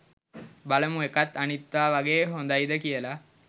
බලමු එකත් අනිත්වා වගේ හොදයිද කියලා